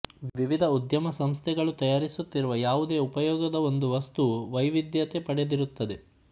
ವಿವಿಧ ಉದ್ಯಮ ಸಂಸ್ಥೆಗಳು ತಯಾರಿಸುತ್ತಿರುವ ಯಾವುದೇ ಉಪಯೋಗದ ಒಂದು ವಸ್ತುವು ವೈವಿಧ್ಯತೆ ಪಡೆದಿರುತ್ತದೆ